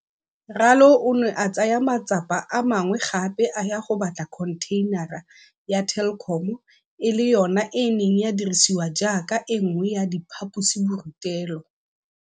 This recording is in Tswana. Ralo o ne a tsaya matsapa a mangwe gape a ya go batla khontheinara ya Telkom e le yona e neng ya dirisiwa jaaka e nngwe ya diphaposiborutelo.